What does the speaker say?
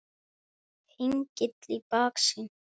Hengill í baksýn.